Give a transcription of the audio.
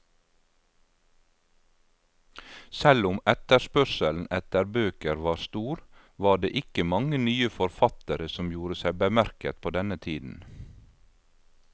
Selv om etterspørselen etter bøker var stor, var det ikke mange nye forfattere som gjorde seg bemerket på denne tiden.